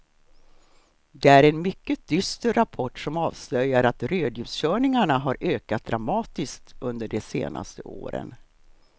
Det är en mycket dyster rapport som avslöjar att rödljuskörningarna har ökat dramatiskt under de senaste åren.